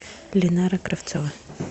линара кравцова